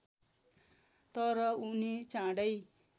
तर उनी चाँडै